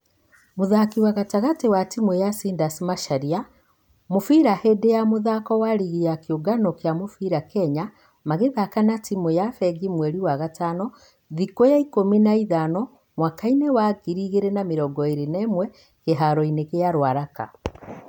Mũthaki wa gatagatĩ wa timũ ya ciders macharia .....mũbira hĩndĩ ya mũthako wa rigi ya kĩũngano gĩa mũbira kenya magĩthaka na timũ ya fengi mweri wa gatano thikũya ikũmi na ithano mwaka-inĩ wa 2021 kĩharo-inĩ gĩa ruaraka.